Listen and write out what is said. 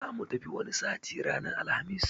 Zamu tafi wani sati ranar Alhamis